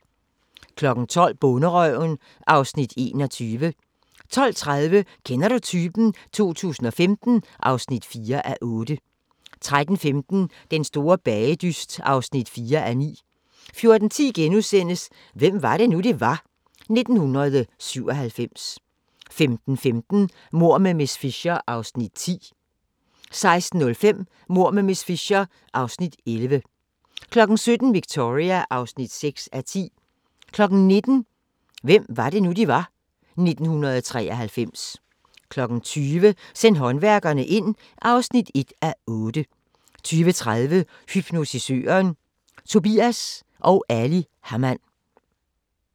12:00: Bonderøven (Afs. 21) 12:30: Kender du typen? 2015 (4:8) 13:15: Den store bagedyst (4:9) 14:10: Hvem var det nu, vi var? - 1997 * 15:15: Mord med miss Fisher (Afs. 10) 16:05: Mord med miss Fisher (Afs. 11) 17:00: Victoria (6:10) 19:00: Hvem var det nu, vi var - 1993 20:00: Send håndværkerne ind (1:8) 20:30: Hypnotisøren – Tobias & Ali Hamann